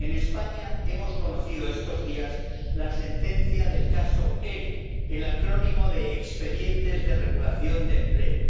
En España hemos conocido estos días la sentencia del caso ERE, el acrónimo de expedientes de regulación de empleo.